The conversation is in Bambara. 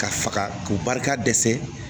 Ka faga k'u barika dɛsɛ